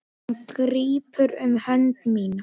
Hann grípur um hönd mína.